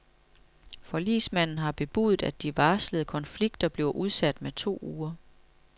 Forligsmanden har bebudet, at de varslede konflikter bliver udsat med to uger.